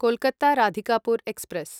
Kolkata Radhikapur express